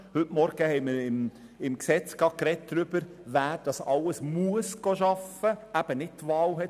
Heute Vormittag haben wir beim Gesetz darüber gesprochen, wer arbeiten muss, eben keine Wahl hat.